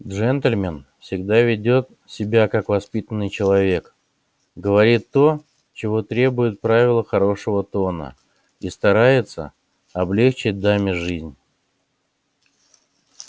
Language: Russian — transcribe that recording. джентльмен всегда ведёт себя как воспитанный человек говорит то чего требуют правила хорошего тона и старается облегчить даме жизнь